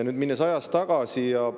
Läheme ajas tagasi.